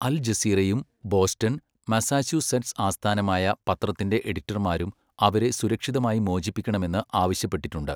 അൽ ജസീറയും Boston, Massachusetts ആസ്ഥാനമായുള്ള പത്രത്തിന്റെ എഡിറ്റർമാരും അവരെ സുരക്ഷിതമായി മോചിപ്പിക്കണമെന്ന് ആവശ്യപ്പെട്ടിട്ടുണ്ട്.